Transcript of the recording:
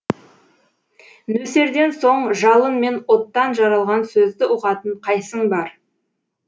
нөсерден соң жалын мен оттан жаралған сөзді ұғатын қайсың бар